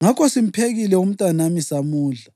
Ngakho simphekile umntanami samudla.